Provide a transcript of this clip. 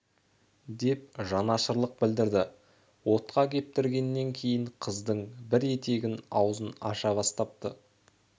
деп жанашырлық білдірді отқа кептіргеннен кейін қыздың бір етігі аузын аша бастапты